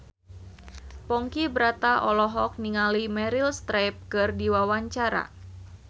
Ponky Brata olohok ningali Meryl Streep keur diwawancara